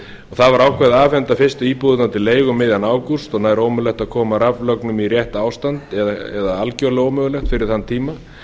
það var ákveðið að afhenda fyrstu íbúðirnar til leigu um miðjan ágúst og nær ómögulegt að koma raflögnum í rétt ástand eða algjörlega ómögulegt fyrir þann tíma